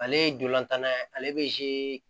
Ale ye dolantanna ye ale bɛ